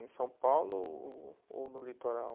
Em São Paulo ou no litoral?